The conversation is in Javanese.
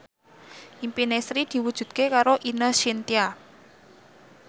impine Sri diwujudke karo Ine Shintya